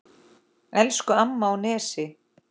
Elsku amma á Nesi.